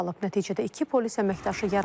Nəticədə iki polis əməkdaşı yaralanıb.